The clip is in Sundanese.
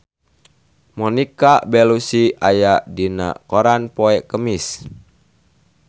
Monica Belluci aya dina koran poe Kemis